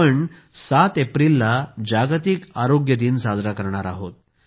आपण 7 एप्रिलला जागतिक आरोग्य दिन साजरा करणार आहोत